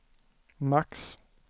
max